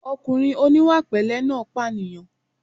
Ọkùnrin oníwàpẹ̀lẹ́ náà pànìyàn